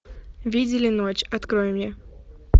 видели ночь открой мне